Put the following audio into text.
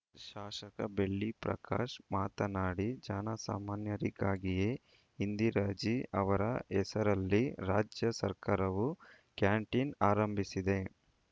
ಶಾಸಕ ಬೆಳ್ಳಿ ಪ್ರಕಾಶ್‌ ಮಾತನಾಡಿ ಜನಸಾಮಾನ್ಯರಿಗಾಗಿಯೇ ಇಂದಿರಾಜೀ ಅವರ ಹೆಸರಲ್ಲಿ ರಾಜ್ಯ ಸರ್ಕಾರವು ಕ್ಯಾಂಟೀನ್‌ ಆರಂಭಿಸಿದೆ